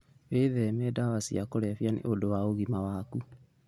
Wĩtheme ndawa cia kũrebia nĩ ũndũ wa ũgima waku.